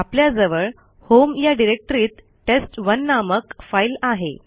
आपल्याजवळ homeanirbanarc या डिरेक्टरीत टेस्ट1 नामक फाईल आहे